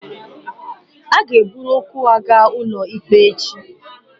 Ha ga-eburu okwu ha gaa ụlọ ikpe echi